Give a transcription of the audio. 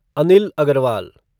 Anil Agarwal